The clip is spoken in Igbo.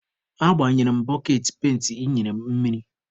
Agbanyere m boketị penti ị nyere m mmiri.